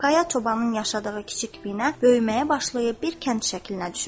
Qaya çobanın yaşadığı kiçik binə böyüməyə başlayıb bir kənd şəklinə düşür.